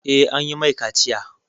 Eh, an yi mai kaciya